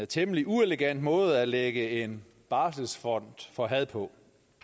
temmelig uelegant måde at lægge en barselsfond for had på